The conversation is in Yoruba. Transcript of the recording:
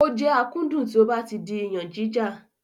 Ó jẹ́ akúndùn tí ó ba ti di iyànjíjà.